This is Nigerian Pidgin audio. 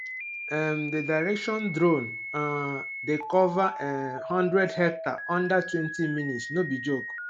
um the direction drone um dey cover um one hundred hectare under twenty minutes no be joke